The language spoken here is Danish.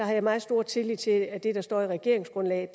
har jeg meget stor tillid til det der står i regeringsgrundlaget